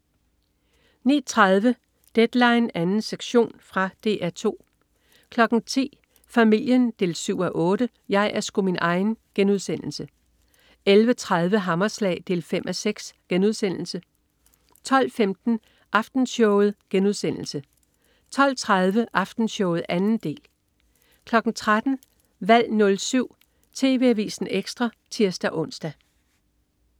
09.30 Deadline 2. sektion. Fra DR 2 10.00 Familien 7:8. Jeg er sgu min egen* 11.30 Hammerslag 5:6* 12.15 Aftenshowet* 12.30 Aftenshowet 2. del 13.00 Valg 07. TV Avisen Ekstra (tirs-ons)